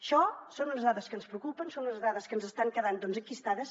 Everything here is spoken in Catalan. això són unes dades que ens preocupen són unes dades que ens estan quedant enquistades